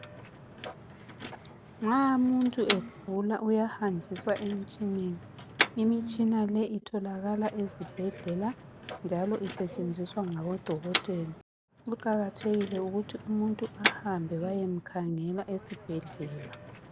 nxa umuntu egula uyahanjiswa emtshineneni imitshina le itholakala ezibhedlela njalo isetshenziswa ngabo dokotela kuqakathekile ukuthi umuntu ahambe bayemkhangela esibhedlela